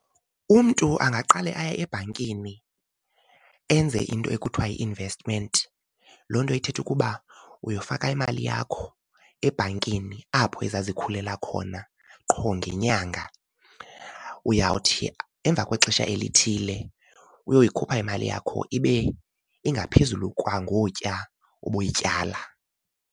Umntu angaqale aye ebhankini enze into ekuthiwa yi-investment. Loo nto ithetha ukuba uyofaka imali yakho ebhankini apho izazikhulela khona qho ngenyanga. Uyawuthi emva kwexesha elithile uyoyikhupha imali yakho ibe ingaphezulu kwangokuya ubuyityala.